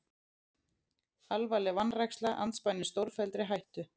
Alvarleg vanræksla andspænis stórfelldri hættu